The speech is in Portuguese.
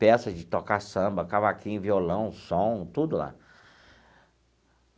Peças de tocar samba, cavaquinho, violão, som, tudo lá.